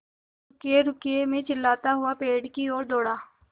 रुकिएरुकिए मैं चिल्लाता हुआ पेड़ की ओर दौड़ा